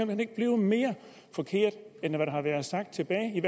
hen ikke blive mere forkert end det der har været sagt tilbage i